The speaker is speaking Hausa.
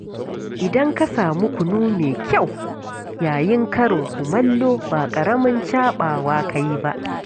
Idan ka samu kunu mai kyau yayin karin kumallo, ba ƙaramin caɓawa ka yi ba